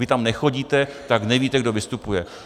Vy tam nechodíte, tak nevíte, kdo vystupuje.